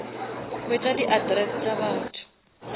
hwetša di address tša batho